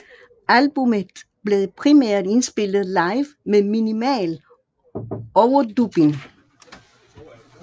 Albummet blev primært indspillet live med minimal overdubbing